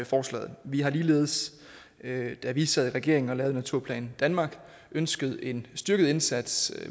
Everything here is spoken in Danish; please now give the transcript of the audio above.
forslaget vi har ligeledes da vi sad i regering og lavede naturplan danmark ønsket en styrket indsats